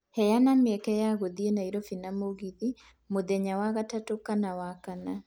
Heana mĩeke ya gũthiĩ Nairobi na mũgithi mũthenya wa gatatũ kana wa kana